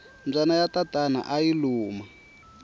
mbyana ya tatana ayi luma